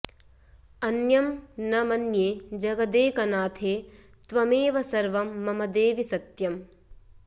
अन्यं न मन्ये जगदेकनाथे त्वमेव सर्वं मम देवि सत्यम्